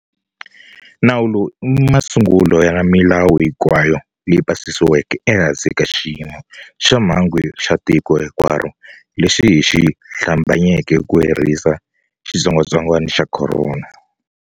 Nawu lowu i masungulo ya milawu hinkwayo leyi pasisiweke ehansi ka xiyimo xa mhangu xa tiko hinkwaro lexi hi xi hlambanyeke ku herisa xitsongwatsongwana xa corona.